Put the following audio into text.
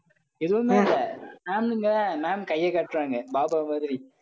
எதுவுமே இல்லை. ma'am இங்க ma'am கையை காட்டுறாங்க பாபா மாதிரி.